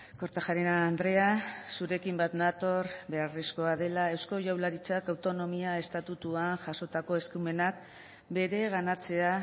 kortajarena andrea zurekin bat nator beharrezkoa dela eusko jaurlaritzak autonomia estatutuan jazotako eskumenak bereganatzea